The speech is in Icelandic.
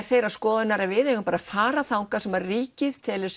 þeirrar skoðunar að við eigum bara að fara þangað sem ríkið telur